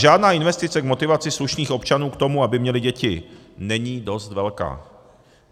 Žádná investice k motivaci slušných občanů k tomu, aby měli děti, není dost velká.